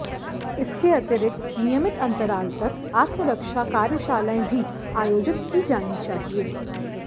इसके अतिरिक्त नियमित अंतराल तक आत्मरक्षा कार्याशालाएं भी आयोजित की जानी चाहिए